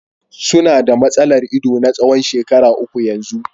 Su na da matsalar ido na tsawon shekaru uku yanzu.